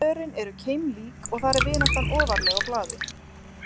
Svörin eru keimlík og þar er vináttan ofarlega á blaði.